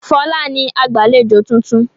Fọlá ni agbàlejò tuntun.